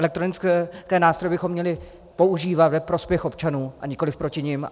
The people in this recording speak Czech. Elektronické nástroje bychom měli používat ve prospěch občanů a nikoliv proti nim.